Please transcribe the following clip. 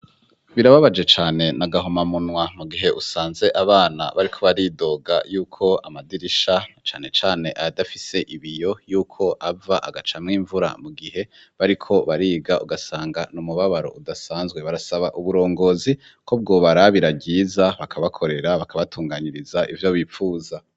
Birababaje cane ni agahomamumwa mu gihe usanze abana bariko baridoga y'uko amadirisha cane cane ayadafise ibiyo y'uko ava agacamwo imvura mu gihe bariko bariga, ugasanga ni umubabaro udasanzwe. Barasaba uburongozi ko bwobarabira ryiza bakabakorera, bakabatunganiriza ivyo bipfuza.